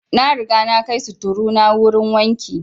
Na riga na kai sutturu na wurin wanki